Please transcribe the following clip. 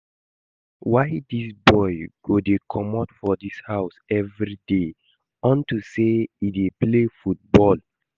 Why dis boy go dey comot for dis house everyday unto say he dey play football?